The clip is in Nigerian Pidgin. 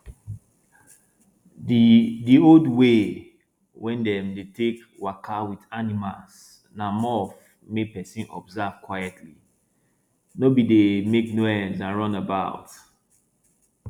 the old way wey dem dey take waka with animals na more of make person observe quietly no be dey make noise and run about